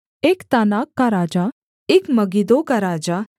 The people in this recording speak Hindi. एक तानाक का राजा एक मगिद्दो का राजा